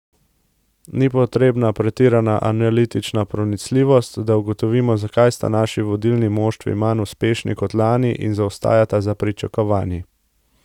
Ni potrebna pretirana analitična pronicljivost, da ugotovimo, zakaj sta naši vodilni moštvi manj uspešni kot lani in zaostajata za pričakovanji.